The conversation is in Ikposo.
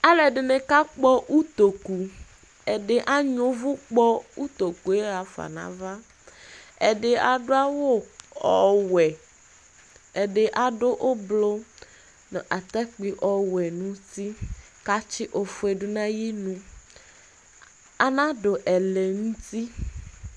Alu ɛdɩnɩ kakpɔ utoku Ɛdɩ anyʋɛ uvu kpɔ utoku yɛ ɣafa nʋ ava Ɛdɩ adu awu ɔwɛ, ɛdɩ adu ʋblʋ nʋ atakpi ɔwɛ nʋ uti kʋ atsi ofuedu nʋ ayʋ inu Anadu ɛlɛnuti